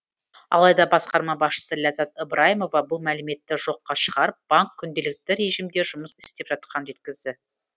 алайда басқарма басшысы ләззат ыбрайымова бұл мәліметті жоққа шығарып банк күнделікті режимде жұмыс істеп жатқанын жеткізді